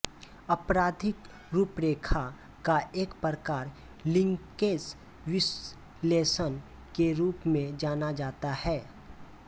आपराधिक रूपरेखा का एक प्रकार लिंकेज विश्लेषण के रूप में जाना जाता है